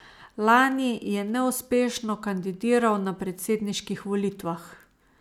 Lani je neuspešno kandidiral na predsedniških volitvah.